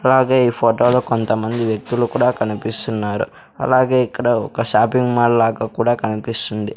అలాగే ఈ ఫోటోలో కొంతమంది వ్యక్తులు కూడా కనిపిస్తున్నారు అలాగే ఇక్కడ ఒక షాపింగ్ మాల్ లాగా కూడా కనిపిస్తుంది.